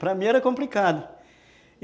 Para mim era complicado.